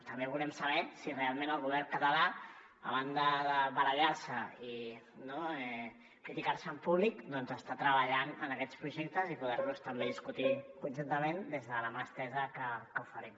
també volem saber si realment el govern català a banda de barallar se i criticar se en públic doncs està treballant en aquests projectes i poder los també discutir conjuntament des de la mà estesa que oferim